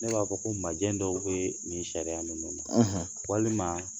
Ne b'a fɔ ko majɛ dɔw be nin sariyaya ninnu na walima